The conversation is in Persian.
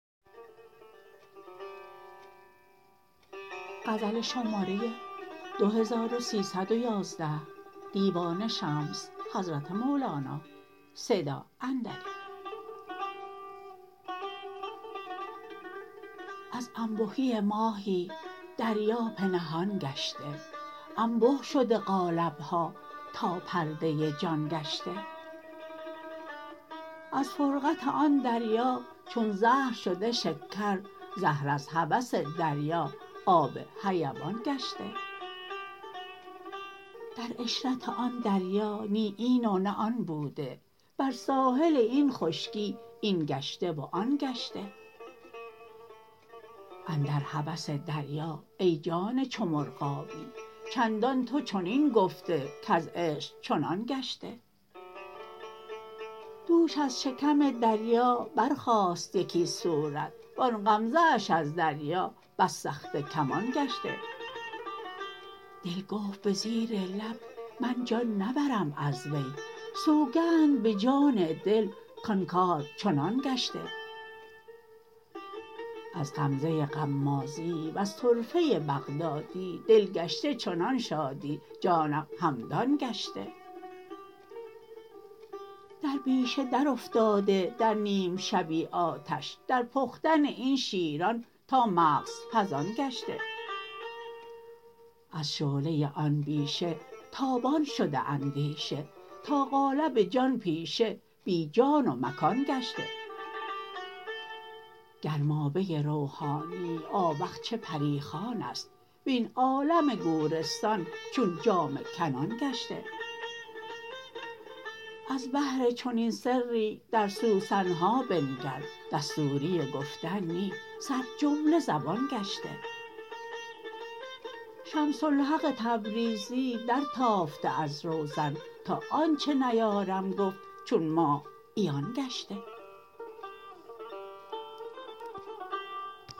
از انبهی ماهی دریا به نهان گشته انبه شده قالب ها تا پرده جان گشته از فرقت آن دریا چون زهر شده شکر زهر از هوس دریا آب حیوان گشته در عشرت آن دریا نی این و نه آن بوده بر ساحل این خشکی این گشته و آن گشته اندر هوس دریا ای جان چو مرغابی چندان تو چنین گفته کز عشق چنان گشته دوش از شکم دریا برخاست یکی صورت و آن غمزه اش از دریا بس سخته کمان گشته دل گفت به زیر لب من جان نبرم از وی سوگند به جان دل کان کار چنان گشته از غمزه غمازی وز طرفه بغدادی دل گشته چنان شادی جانم همدان گشته در بیشه درافتاده در نیم شبی آتش در پختن این شیران تا مغز پزان گشته از شعله آن بیشه تابان شده اندیشه تا قالب جان پیشه بی جا و مکان گشته گرمابه روحانی آوخ چه پری خوان است وین عالم گورستان چون جامه کنان گشته از بهر چنین سری در سوسن ها بنگر دستوری گفتن نی سر جمله زبان گشته شمس الحق تبریزی درتافته از روزن تا آنچ نیارم گفت چون ماه عیان گشته